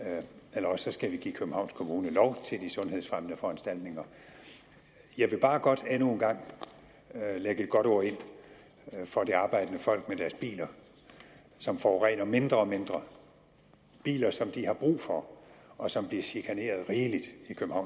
eller også skal vi give københavns kommune lov til de sundhedsfremmende foranstaltninger jeg vil bare godt endnu en gang lægge et godt ord ind for det arbejdende folk med deres biler som forurener mindre og mindre biler som de har brug for og som de bliver chikaneret rigeligt